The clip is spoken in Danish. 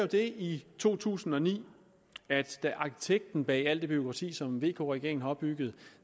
det i to tusind og ni at da arkitekten bag alt det bureaukrati som vk regeringen har opbygget